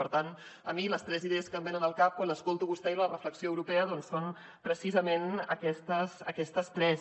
per tant a mi les tres idees que em venen al cap quan l’escolto a vostè sobre la reflexió europea són precisament aquestes tres